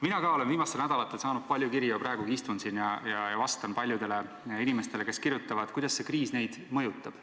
Mina ka olen viimastel nädalatel saanud palju kirju ja praegugi istun siin ja vastan paljudele inimestele, kes kirjutavad, kuidas see kriis neid mõjutab.